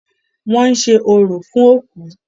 Wọ́n ń ṣe orò fún òkú.